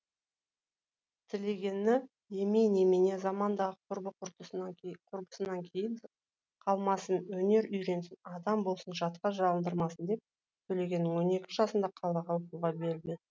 тілегені емей немене заманындағы құрбы құрдасынан кейін қалмасын өнер үйренсін адам болсын жатқа жалындырмасын деп төлегенін он екі жасында қалаға оқуға беріп еді